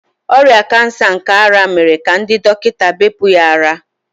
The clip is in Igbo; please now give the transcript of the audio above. Ọrịa kansa nke ara mere ka ndị dọkịta bepụ ya ara.